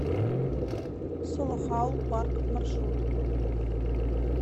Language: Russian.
солохаул парк маршрут